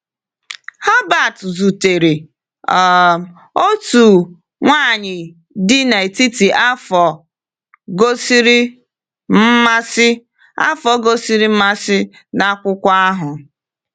Herbert zutere um otu nwaanyị dị n’etiti afọ gosiri mmasị afọ gosiri mmasị n’akwụkwọ ahụ.